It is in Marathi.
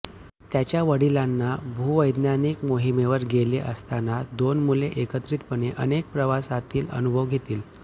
त्याच्या वडिलांना भूवैज्ञानिक मोहिमेवर गेलेले असताना दोन मुले एकत्रितपणे अनेक प्रवासातील अनुभव घेतील